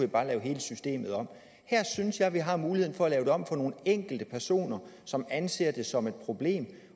bare lave hele systemet om her synes jeg at vi har muligheden for at lave det om for nogle enkelte personer som anser det som et problem